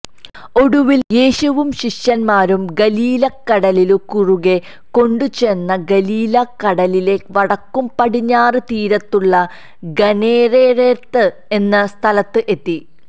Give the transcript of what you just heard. ഒടുവിൽ യേശുവും ശിഷ്യന്മാരും ഗലീലക്കടലിനു കുറുകെ കൊണ്ടുചെന്നു ഗലീലാ കടലിലെ വടക്കുപടിഞ്ഞാറ് തീരത്തുള്ള ഗനേരെരെരെത്ത് എന്ന സ്ഥലത്ത് എത്തി